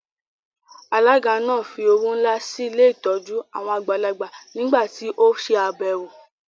Alága náà fí owó ńlá sí ilé ìtọ́jú àwọn àgbàlagbà nígbà tí ó se àbẹ̀wò